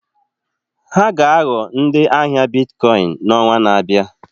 Ha ga-aghọ ndị ahịa Biticoin n'ọnwa na-abịa.